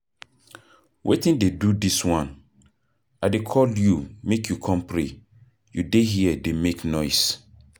Wetin dey do dis one? I dey call you make you come pray, you dey here dey make noise.